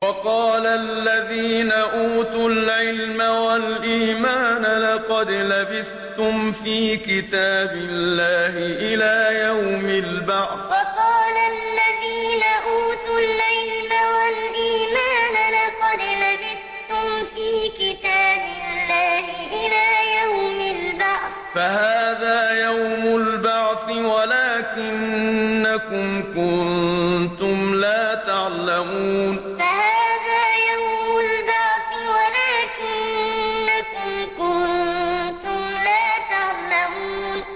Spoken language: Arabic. وَقَالَ الَّذِينَ أُوتُوا الْعِلْمَ وَالْإِيمَانَ لَقَدْ لَبِثْتُمْ فِي كِتَابِ اللَّهِ إِلَىٰ يَوْمِ الْبَعْثِ ۖ فَهَٰذَا يَوْمُ الْبَعْثِ وَلَٰكِنَّكُمْ كُنتُمْ لَا تَعْلَمُونَ وَقَالَ الَّذِينَ أُوتُوا الْعِلْمَ وَالْإِيمَانَ لَقَدْ لَبِثْتُمْ فِي كِتَابِ اللَّهِ إِلَىٰ يَوْمِ الْبَعْثِ ۖ فَهَٰذَا يَوْمُ الْبَعْثِ وَلَٰكِنَّكُمْ كُنتُمْ لَا تَعْلَمُونَ